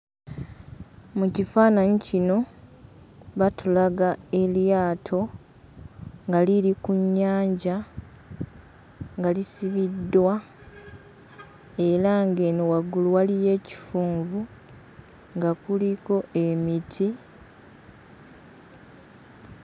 Mu kifaananyi kino, batulaga eryato nga liri ku nnyanja nga lisibiddwa era ng'eno waggulu waliyo ekifunvu nga kuliko emiti.